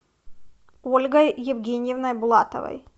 ольгой евгеньевной булатовой